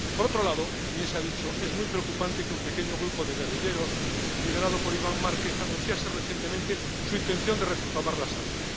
Por otro lado —también se ha dicho—, es muy preocupante que un pequeño grupo de guerrilleros, liderado por Iván Márquez, anunciase recientemente su intención de retomar las armas.